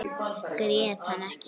Grét hann ekki.